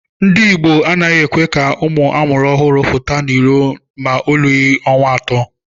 Ndi igbo a naghị ekwe ka ụmụ amuru ọhụrụ pụta n’ụlọ ma olughi ọnwa atọ.